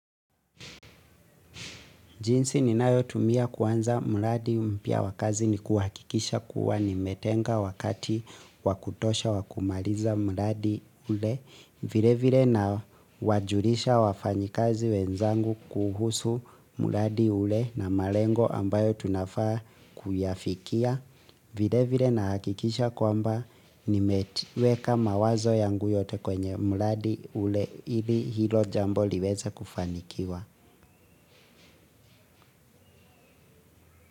Jinsi ninayotumia kwanza mradi mpya wa kazi ni kuhakikisha kuwa nimetenga wakati wa kutosha wa kumaliza mradi ule. Vilevile nawajulisha wafanyikazi wenzangu kuhusu mradi ule na malengo ambayo tunafaa kuyafikia. Vilevile na hakikisha kwamba nimeweka mawazo yangu yote kwenye mradi ule ili hilo jambo liweze kufanikiwa.